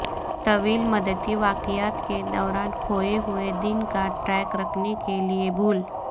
طویل مدتی واقعات کے دوران کھوئے ہوئے دن کا ٹریک رکھنے کے لئے بھول